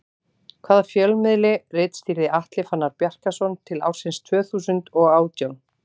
Hvaða fjölmiðli ritstýrði Atli Fannar Bjarkason til ársins tvö þúsund og átján?